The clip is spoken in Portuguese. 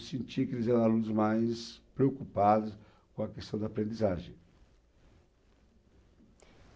Eu sentia que eles eram alunos mais preocupados com a questão da aprendizagem.